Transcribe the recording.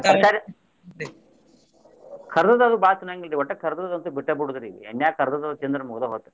ತರಕಾರಿ ಕರ್ದದ್ದು ಬಾಳ ತಿನ್ನುವಂಗಿಲ್ರಿ ಒಟ್ಟ ಕರ್ದದ್ದ ಅಂತು ಬಿಟ್ಟ ಬಿಡೋದ್ರಿ ಈಗ ಎಣ್ಣ್ಯಾಗ್ ಕರ್ದದ್ದ ಅದು ತಿಂದ್ರ ಮುಗ್ದ ಹೋತ್.